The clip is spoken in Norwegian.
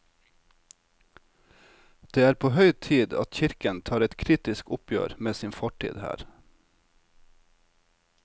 Det er på høy tid at kirken tar et kritisk oppgjør med sin fortid her.